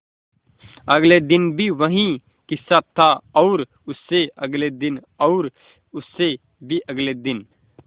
अगले दिन भी वही किस्सा था और उससे अगले दिन और उससे भी अगले दिन